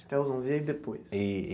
Até os onze e aí depois? E e.